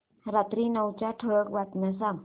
रात्री नऊच्या ठळक बातम्या सांग